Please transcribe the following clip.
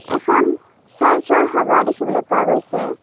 এখন চাৰ্চৰ হাৱা দেখিবলৈ পোৱা গৈছে।